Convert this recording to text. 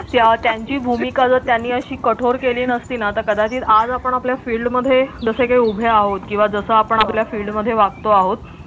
त्यांची भूमिका तर त्यांनी अशी कठोर केली नसती ना तर कदाचित आज आपण आपल्या field मध्ये जस की उभे आहोत किंवा आपण आपल्या field मध्ये वागतो आहोत